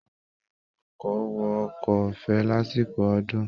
Àwọn èrò ọkọ̀ wọ ọkọ ọ̀fẹ́ lásìkò ọdún